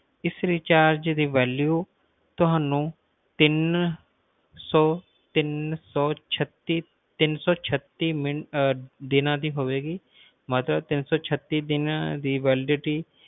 ਇਸ recharge ਦੀ value ਤੁਹਾਨੂੰ ਤਿੰਨ ਸੌ ਤਿੰਨ ਸੌ ਛੱਤੀ ਟੀਨ ਸੌ ਛੱਤੀ ਦੀਨਾ ਦੀ ਹੋਏਗੀ ਮਤਲਬ ਤਿੰਨ ਸੌ ਛੱਤੀ ਦਿਨ ਦੀ